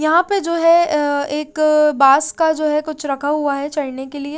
यहां पे जो है अं एक बांस का जो है कुछ रखा हुआ है चढ़ने के लिए--